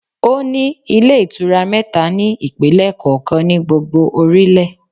Ó ní Ilé Ìtura mẹ́ta ní ìpínlẹ̀ kọ̀ọ̀kan ní gbogbo orílẹ̀